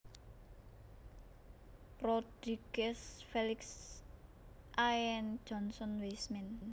Rodriguez Félix I and John Weisman